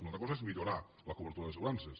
una altra cosa és millorar la cobertura d’assegurances